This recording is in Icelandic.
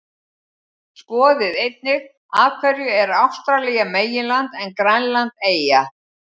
Skoðið einnig: Af hverju er Ástralía meginland en Grænland eyja?